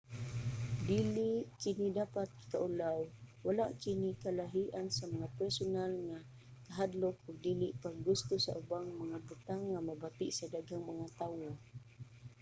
dili kini dapat ikaulaw: wala kini kalahian sa mga personal nga kahadlok ug dili pag-gusto sa ubang mga butang nga mabati sa daghang mga tawo